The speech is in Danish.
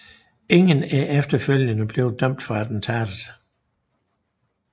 Ingen er efterfølgende blev dømt for attentatet